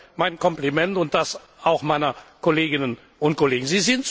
Dafür mein Kompliment und auch das meiner Kolleginnen und Kollegen.